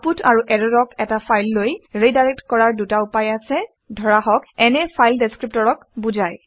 output আৰু ইৰৰক এটা ফাইললৈ ৰিডাইৰেক্ট কৰাৰ দুটা উপায় আছে ধৰক n এ ফাইল ডেচক্ৰিপটৰক বুজায়